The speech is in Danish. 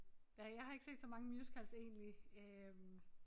Ja jeg har ikke set så mange musicals egentlig øh